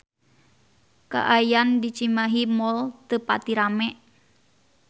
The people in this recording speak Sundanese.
Kaayaan di Cimahi Mall teu pati rame